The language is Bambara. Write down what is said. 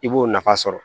I b'o nafa sɔrɔ